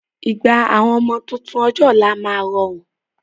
Ìgbà àwọn ọmọ tuntun ọjọ́ ọ̀la máa rọrùn